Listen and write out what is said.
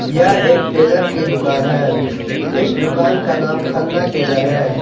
यह एक टेलर की दुकान है इस दुकान का नाम खन्ना टेलर है।